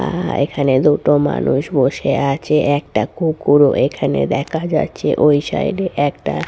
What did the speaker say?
আ এখানে দুটো মানুষ বসে আছে একটা কুকুরও এখানে দেখা যাচ্ছে ওই সাইড এ একটা--